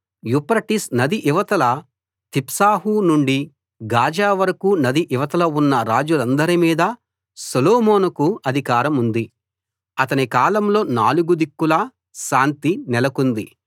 Euphrates నది ఇవతల Tiphsah నుండి గాజా వరకూ నది ఇవతల ఉన్న రాజులందరి మీదా సొలోమోనుకు అధికారముంది అతని కాలంలో నాలుగు దిక్కులా శాంతి నెలకొంది